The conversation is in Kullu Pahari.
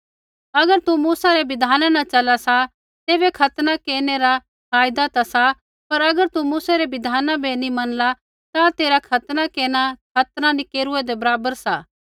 अगर तू मूसै रै बिधाना न चला सा तैबै खतना केरनै रा फायदा ता सा पर अगर तू मूसै री बिधान बै नी मनला ता तेरा खतना केरना खतना नी केरूऐदै बराबर सा